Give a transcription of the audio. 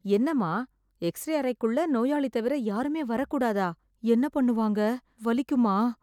என்னமா எக்ஸ்-ரே அறைக்குள்ள நோயாளி தவிர யாருமே வரக் கூடாதா? என்ன பண்ணுவாங்க? வலிக்குமா?